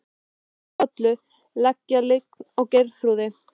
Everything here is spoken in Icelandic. Og verst af öllu að leggja lygina á Geirþrúði.